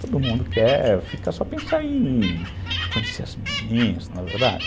Todo mundo quer, fica só pensando em conhecer as menininhas, não é verdade?